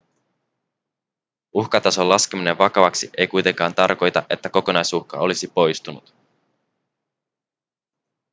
uhkatason laskeminen vakavaksi ei kuitenkaan tarkoita että kokonaisuhka olisi poistunut